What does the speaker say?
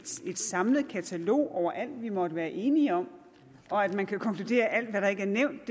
samlet katalog over alt vi måtte være enige om og at man kan konkludere at alt hvad der ikke er nævnt